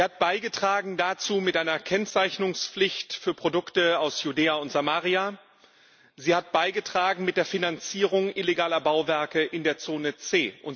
Sie hat dazu beigetragen mit einer Kennzeichnungspflicht für Produkte aus Judäa und Samaria, sie hat dazu beigetragen mit der Finanzierung illegaler Bauwerke in der Zone C.